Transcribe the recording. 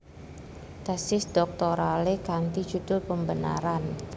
Tesis dhoktoralé kanti judul Pembenaran